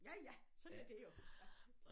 Ja ja sådan er det jo ja